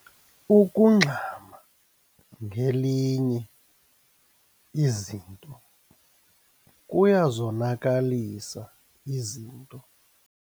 Ukungxama ngelinye izinto kuyazonakalisa izinto.